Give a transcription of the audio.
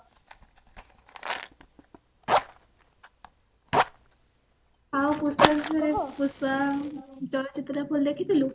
ଆଉ ଦେଖା ପୁଷ୍ପା ଚଳଚିତ୍ର ଦେଖିଥିଲୁ